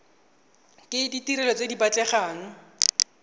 ke ditirelo tse di batlegang